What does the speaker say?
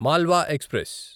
Malwa express